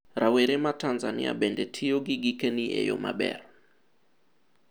Rawere ma Tanzania bende tiyo gi gikeni e yoo maber?